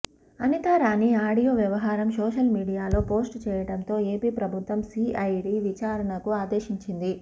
Anita Rani audio వ్యవహరం social మీడియాలో post చేయడంతో AP ప్రభుత్వం సీఐడీ విచారణకు అదేశించింది